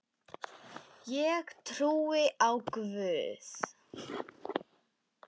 Ég trúi á Guð!